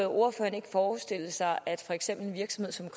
ordføreren ikke forestille sig at en virksomhed som